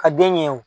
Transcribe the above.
Ka den ɲɛ wo